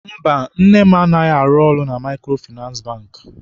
Mba, nne m anaghị arụ na Maịkrofịnansị Bankị.